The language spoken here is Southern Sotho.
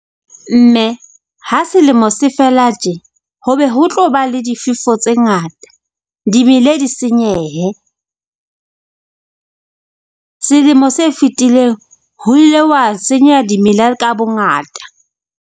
Mme ha selemo se fela tje h obe ho tlo ba le difefo tse ngata, dimele di senyehe. Selemo se fetileng ho ile wa senyeha dimela ka bongata.